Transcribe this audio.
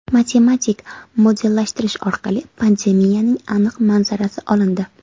Matematik modellashtirish orqali pandemiyaning aniq manzarasi olindi .